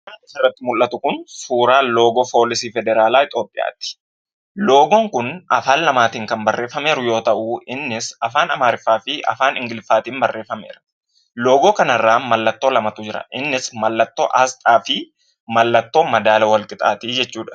Suuraan asirratti mul'atu kun suuraa loogoo poolisii federaalaa Itoophiyaati. Loogoon kun affan lamaan kan barreeffamee jiru yemmuu ta'u, innis afaan Amaaraafi afaan ingiliffaatiin barreeffameera. Loogoo kana irra mallattoo lamatu jira. Innis mallattoo aasxaafi madaala walqixaati jechuudha.